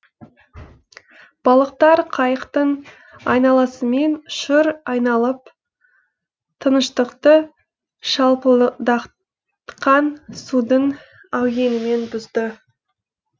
балықтар қайықтың айналасымен шыр айналып тыныштықты судың әуенімен бұзды